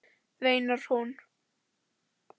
veinar hún.